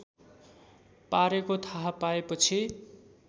पारेको थाहा पाएपछि